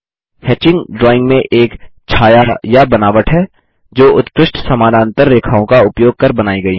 hatching drawing में एक छाया या बनावट है जो उत्कृष्ट समानांतर रेखाओं का उपयोग कर बनाई गई है